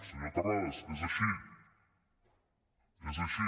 senyor terrades és així és així